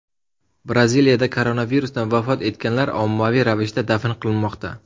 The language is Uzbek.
Braziliyada koronavirusdan vafot etganlar ommaviy ravishda dafn qilinmoqda.